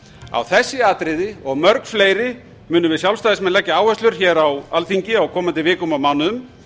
á þessi atriði og mörg fleiri munum við sjálfstæðismenn leggja áherslur á á alþingi á komandi vikum og mánuðum